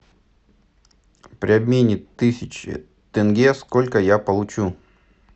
при обмене тысячи тенге сколько я получу